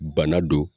Bana don